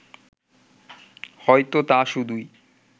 হয়তো তা শুধুই